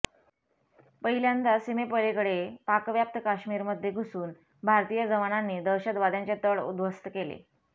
पहिल्यांदा सीमेपलीकडे पाकव्याप्त काश्मीरमध्ये घुसून भारतीय जवानांनी दहशतवाद्यांचे तळ उद्ध्वस्त केले